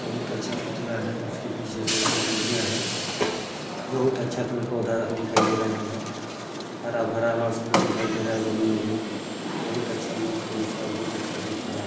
बहुत अच्छा पुतला है उसके पीछे साइड से रोड गया है बहुत अच्छा पेड़ पौधा दिखाई दे रहे है हरा भरा मस्त दिखाई दे रहे है ज़मीन भी बहुत अच्छा लुक है इसका बहुत अच्छा दिख रहा--